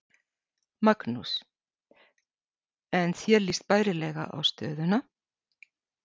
Magnús: En þér líst bærilega á stöðuna?